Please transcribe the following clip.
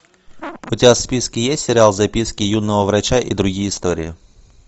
у тебя в списке есть сериал записки юного врача и другие истории